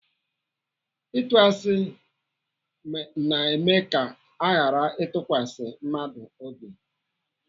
Ịtụ asị na-eme ka aghara ịtụkwasị mmadụ obi.